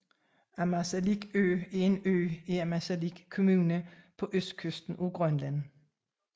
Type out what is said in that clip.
Ammassalik Ø er en ø i Ammassalik Kommune på østkysten af Grønland